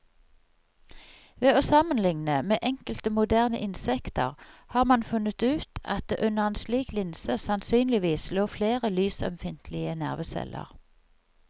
Ved å sammenligne med enkelte moderne insekter har man funnet ut at det under en slik linse sannsynligvis lå flere lysømfintlige nerveceller.